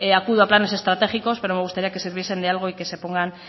acudo a planes estratégicos pero me gustaría que sirviesen de algo y que se pongan